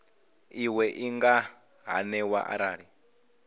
iwe i nga haniwa arali